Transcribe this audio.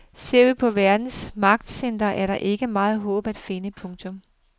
Ser vi på verdens magtcentre er der ikke meget håb at finde. punktum